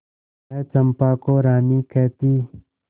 वह चंपा को रानी कहती